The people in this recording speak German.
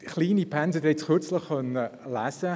Kleine Pensen, Sie konnten es kürzlich lesen …